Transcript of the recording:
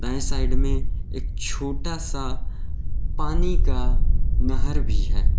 दाएं साइड में एक छोटा सा पानी का नहर भी है।